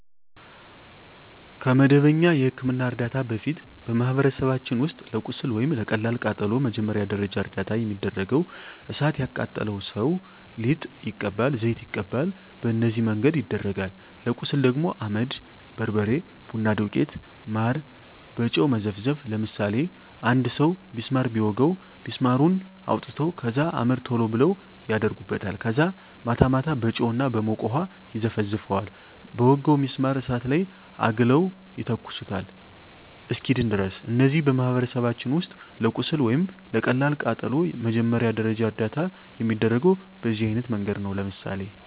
ከመደበኛ የሕክምና ዕርዳታ በፊት፣ በማኅበረሰባችን ውስጥ ለቁስል ወይም ለቀላል ቃጠሎ መጀመሪያ ደረጃ እርዳታ የሚደረገው እሣት የቃጠለው ሠው ሊጥ ይቀባል፤ ዘይት ይቀባል፤ በነዚህ መንገድ ይደረጋል። ለቁስል ደግሞ አመድ፤ በርበሬ፤ ቡና ዱቄት፤ ማር፤ በጨው መዘፍዘፍ፤ ለምሳሌ አንድ ሠው ቢስማር ቢወጋው ቢስማሩን አውጥተው ከዛ አመድ ቶሎ ብለው አደርጉበታል ከዛ ማታ ማታ በጨው እና በሞቀ ውሀ ይዘፈዝፈዋል በወጋው ቢስማር እሳት ላይ አግለው ይተኩሱታል እስኪድን ድረስ። እነዚህ በማኅበረሰባችን ውስጥ ለቁስል ወይም ለቀላል ቃጠሎ መጀመሪያ ደረጃ እርዳታ የሚደረገው በዚህ አይነት መንገድ ነው። ለምሳሌ